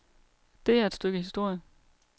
Det er et stykke historie.